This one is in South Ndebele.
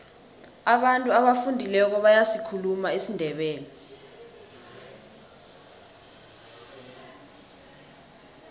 abantu abafundileko bayasikhuluma isindebele